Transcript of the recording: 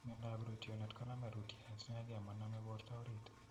Miandoap rootyonet koname rootyonet inege maname porta oriit .